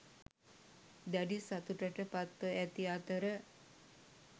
දැඩි සතුටට පත්ව ඇති අතර